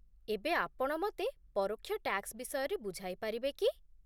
ଏବେ ଆପଣ ମତେ ପରୋକ୍ଷ ଟ୍ୟାକ୍ସ ବିଷୟରେ ବୁଝାଇ ପାରିବେ କି ?